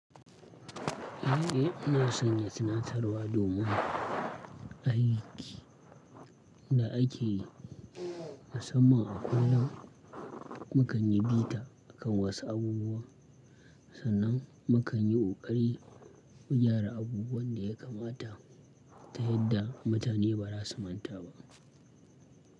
Eh na sanya sanatsarwa domin aiki da ake yi a sama a kullam, mu kan yi bita a kan wasu abubuwa sannan mu kan yi koƙari mu gyara abubuwan da ya kamata ta yadda mutane ba za su manta ba.